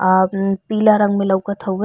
आ म्म पीला रंग में लउकत हउवे।